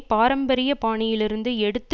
பாரம்பரிய பாணியிலிருந்து எடுத்து